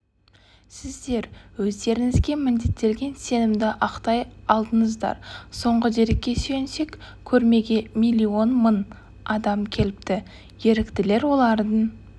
сіздер өздеріңізге міндеттелген сенімді ақтай алдыңыздар соңғы дерекке сүйенсек көрмеге миллион мың адам келіпті еріктілер олардың